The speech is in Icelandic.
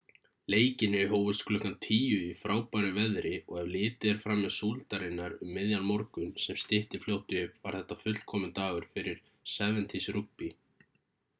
leikirnir hófust klukkan 10:00 í frábæru veðri og ef litið er framhjá súldarinnar um miðjan morgun sem stytti fljótt upp var þetta fullkominn dagur fyrir 7's rúgbý